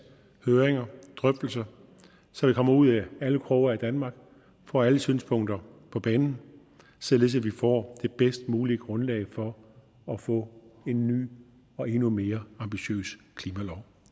høringer drøftelser så vi kommer ud i alle kroge af danmark får alle synspunkter på banen således at vi får det bedst mulige grundlag for at få en ny og endnu mere ambitiøs klimalov